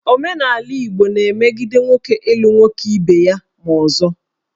Omenala Igbo na-emegide nwoke ịlụ nwoke ibe ya ma ọzọ